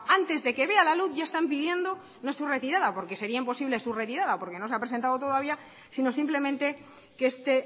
antes de que vea la luz ya están pidiendo no su retirada porque sería imposible su retirada porque no se ha presentado todavía sino simplemente que este